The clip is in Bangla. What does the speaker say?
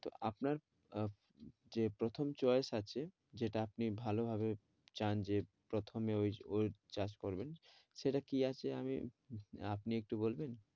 তো আপনার আহ যে প্রথম choice আছে যেটা আপনি ভালোভাবে চান যে প্রথমে ওই ওর চাষ করবেন সেটা কি আছে আপনি একটু বলবেন?